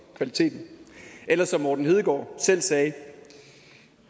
kvaliteten eller som morten hedegaard selv sagde